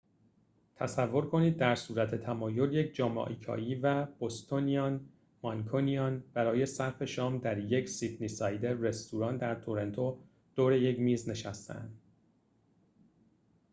تصور کنید در صورت تمایل یک mancunian bostonian جامائیکایی و sydneysider برای صرف شام در یک رستوران در تورنتو دور یک میز نشسته اند